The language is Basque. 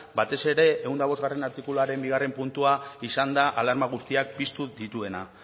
batez ere ehun eta bostgarrena artikuluaren bigarrena puntua izan da alarma guztiak piztu dituena